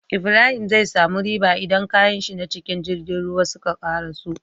Ibrahim zai samu riba idan kayanshi na cikin girgin ruwa suka karaso